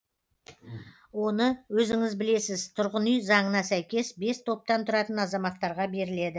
оны өзіңіз білесіз тұрғын үй заңына сәйкес бес топтан тұратын азаматтарға беріледі